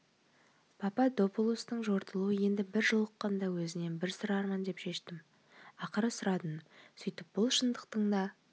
пападопулостың жортуылы енді бір жолыққанда өзінен бір сұрармын деп шештім ақыры сұрадым сөйтіп бұл шындықтың да